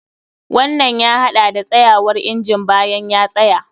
Wannan ya haɗa da tsayawar injin bayan ya tsaya.